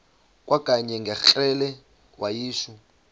kwakanye ngekrele wayishu